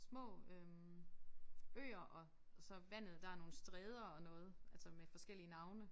Små øh øer og så vandet der nogle stræder og noget altså med forskellige navne